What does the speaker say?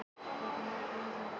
Halldóra hristi höfuðið.